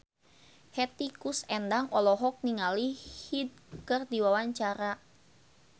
Hetty Koes Endang olohok ningali Hyde keur diwawancara